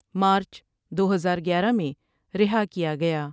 مارچ دو ہزار گیارہ میں رہا کیا گیا ۔